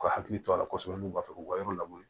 U ka hakili to a la kosɛbɛ n'u b'a fɛ k'u ka yɔrɔ labure